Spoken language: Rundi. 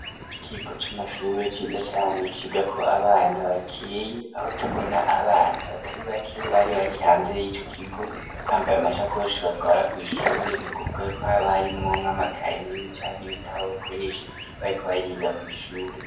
Ikigo c'amashure ciza cane ciga ko abana bakeye aho tubona abana batari bake bari bari hanze y'ico kigo bambaye amasakoshi batwara ku ishure ni kuvuga ko aba harimwonka makaye canke ibitabo bakoresha bari ko bariga kw ishure.